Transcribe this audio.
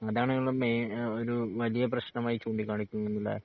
അതാണിവിടിള്ള മെയ് ഏഹ് ഒര് വലിയ പ്രശ്നമായി ചൂണ്ടിക്കാണിക്കുന്നതല്ലേ?